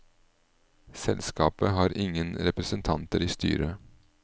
Selskapet har ingen representanter i styret.